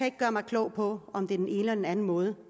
ikke gøre mig klog på om det er den ene eller den anden måde